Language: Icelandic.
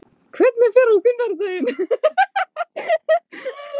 Hvernig fer á sunnudaginn?